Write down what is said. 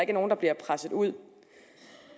er nogen der bliver presset ud